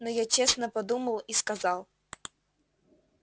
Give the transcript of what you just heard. но я честно подумал и сказал